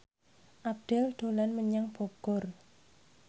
Abdel dolan menyang Bogor